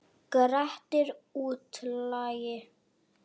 Grettir útlagi.